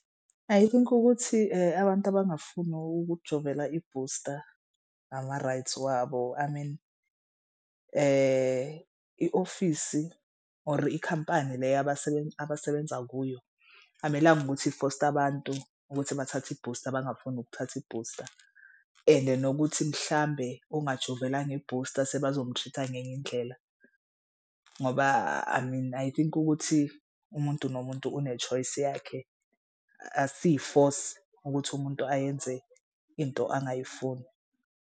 I think ukuthi abantu abangafuni ukujovela ibhusta ama-rights wabo I mean i-ofisi or ikhampani le abasebenza kuyo akumelanga ukuthi ifoste abantu ukuthi bathathe i-boosta abangafuni ukuthatha ibhusta. Ende nokuthi mhlambe ongajovelanga ibhusta sebazom-treat-a ngenye indlela ngoba I mean I think ukuthi umuntu nomuntu une-choice yakhe. Aksiyi force ukuthi umuntu ayenze into angayifuni.